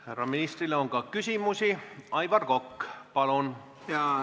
Härra ministrile on ka küsimusi, Aivar Kokk, palun!